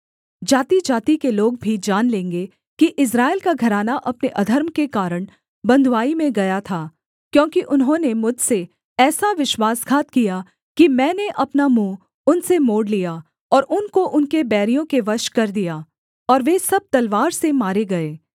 जातिजाति के लोग भी जान लेंगे कि इस्राएल का घराना अपने अधर्म के कारण बँधुआई में गया था क्योंकि उन्होंने मुझसे ऐसा विश्वासघात किया कि मैंने अपना मुँह उनसे मोड़ लिया और उनको उनके बैरियों के वश कर दिया और वे सब तलवार से मारे गए